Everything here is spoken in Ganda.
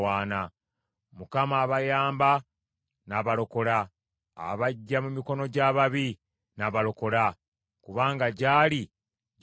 Mukama abayamba n’abalokola; abaggya mu mikono gy’ababi n’abalokola, kubanga gy’ali gye baddukira.